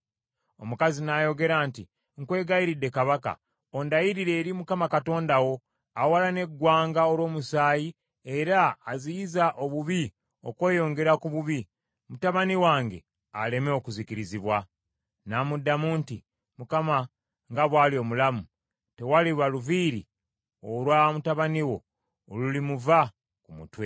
Omukazi n’ayogera nti, “Nkwegayiridde, kabaka, ondayirire eri Mukama Katonda wo, awalana eggwanga olw’omusaayi era aziyiza obubi okweyongera ku bubi, mutabani wange aleme okuzikirizibwa.” N’amuddamu nti, “ Mukama nga bw’ali omulamu, tewaliba luviiri olwa mutabani wo olulimuva ku mutwe.”